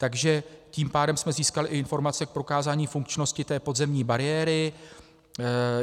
Takže tím pádem jsme získali i informace k prokázání funkčnosti té podzemní bariéry.